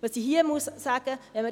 Was ich hier sagen muss: